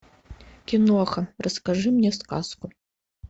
киноха расскажи мне сказку